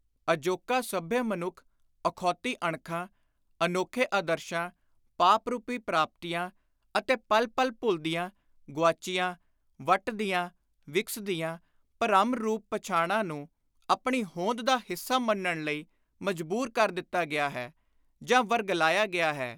ਅਜੋਕਾ ਸੱਭਿਅ ਮਨੁੱਖ ਅਖੌਤੀ ਅਣਖਾਂ, ਅਨੋਖੇ ਆਦਰਸ਼ਾਂ, ਪਾਪ ਰੁਪੀ ਪ੍ਰਾਪਤੀਆਂ ਅਤੇ ਪਲ ਪਲ ਭੁਲਦੀਆਂ, ਗੁਆਚਦੀਆਂ, ਵੱਟਦੀਆਂ, ਵਿਕਸਦੀਆਂ ਭਰਮ-ਰੂਪ ਪਛਾਣਾਂ ਨੂੰ ਆਪਣੀ ਹੋਂਦ ਦਾ ਹਿੱਸਾ ਮੰਨਣ ਲਈ ਮਜਬੂਰ ਕਰ ਦਿੱਤਾ ਗਿਆ ਹੈ ਜਾਂ ਵਰਗਲਾਇਆ ਗਿਆ ਹੈ।